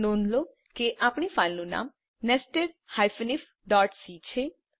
નોંધ લો કે આપણી ફાઈલનું નામ nested ifસી છે